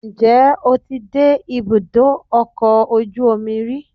njẹ o tí dé ibudọ ọkọ ojú omí rí?